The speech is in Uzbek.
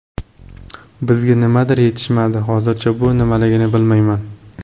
Bizga nimadir yetishmadi, hozircha bu nimaligini bilmayman.